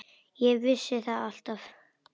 Ég vissi það alltaf.